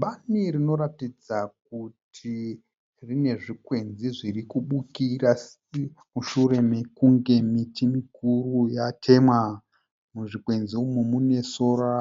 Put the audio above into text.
Bani rinoratidza kuti rine zvikwenzi zvirikubukira mushure mekunge miti mikuru yatemwa. Muzvikwenzi umu mune sora